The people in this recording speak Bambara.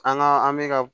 An ka an bɛ ka